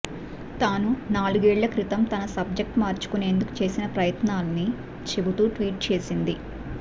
తాను నాలుగేళ్ల క్రితం తన సబ్జెక్ట్ మార్చుకునేందుకు చేసిన ప్రయత్నాన్ని చెబుతూ ట్వీట్ చేసింది